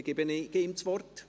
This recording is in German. Dann gebe ich ihm das Wort.